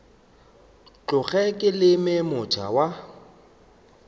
tloge ke leme moota wa